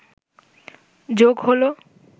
যোগ হলো